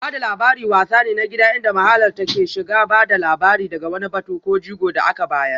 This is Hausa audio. Ba da labari wasa ne na gida inda mahalarta ke shiga ba da labari daga wani batu ko jigo da aka bayar